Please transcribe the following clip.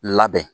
Labɛn